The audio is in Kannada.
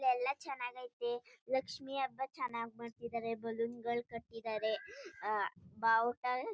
ಎಲ್ಲ ಚನ್ನಗಾಯ್ತೆ ಲಕ್ಷ್ಮಿ ಹಬ್ಬ ಚನ್ನಾಗ್ ಮಾಡ್ತಿದಾರೆ ಬಲೂನ್ ಗಳು ಕಟ್ಟಿದರೆ ಆಹ್ಹ್ ಬಾಹುಟ--